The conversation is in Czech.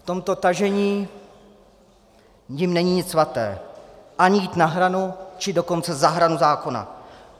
V tomto tažení jim není nic svaté - ani jít na hranu, či dokonce za hranu zákona.